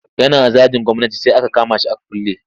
Yana zagin gwamnati sai aka kama shi aka kulle.